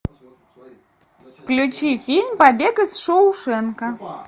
включи фильм побег из шоушенка